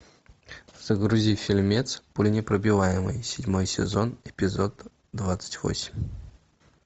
загрузи фильмец пуленепробиваемый седьмой сезон эпизод двадцать восемь